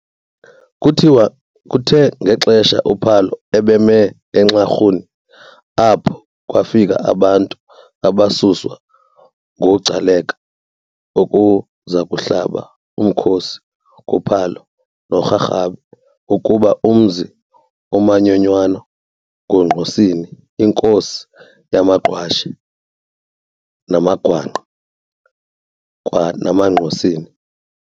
Kuthiwa kuthe ngexesha uPhalo ebemi eNxarhuni apha, kwafika abantu abasuswa nguGcaleka ukuzakuhlaba umkhosi kuPhalo noRharhabe ukuba umzi umanyonywana nguNgqosini, inkosi yamaGqwashe, namagwangqa, kwanamaNgqosini.